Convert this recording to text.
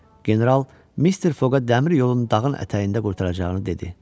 General Mister Foqa dəmir yolunun dağın ətəyində qurtaracağını dedi.